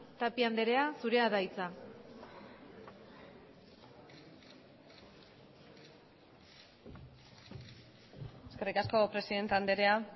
tapia andrea zurea da hitza eskerrik asko presidente andrea